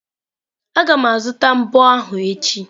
Aga m azụta mbo ahụ echi.